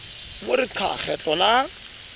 mo re qa kgetlo la